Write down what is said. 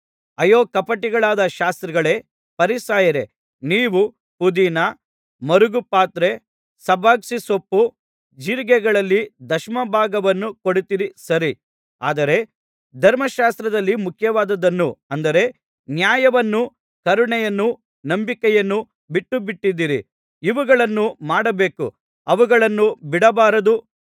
ಅಯ್ಯೋ ಕಪಟಿಗಳಾದ ಶಾಸ್ತ್ರಿಗಳೇ ಫರಿಸಾಯರೇ ನೀವು ಪುದೀನ ಮರುಗಪತ್ರೆ ಸಬಸಿಗೆಸೊಪ್ಪು ಜೀರಿಗೆಗಳಲ್ಲಿ ದಶಮ ಭಾಗವನ್ನು ಕೊಡುತ್ತೀರಿ ಸರಿ ಆದರೆ ಧರ್ಮಶಾಸ್ತ್ರದಲ್ಲಿ ಮುಖ್ಯವಾದುದನ್ನು ಅಂದರೆ ನ್ಯಾಯವನ್ನೂ ಕರುಣೆಯನ್ನೂ ನಂಬಿಕೆಯನ್ನೂ ಬಿಟ್ಟುಬಿಟ್ಟಿದ್ದೀರಿ ಇವುಗಳನ್ನು ಮಾಡಬೇಕು ಅವುಗಳನ್ನೂ ಬಿಡಬಾರದು